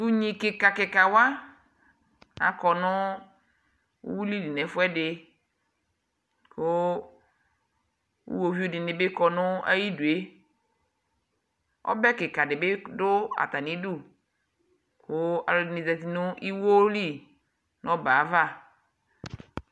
To unyi kikakika wa akɔ no uwili li nɛ fuɛde ko uwovie de be kɔ no ayidue Ɔbɛ kika de be do atane du ko alɛde ne zati no iwo li no ɔbɛ ava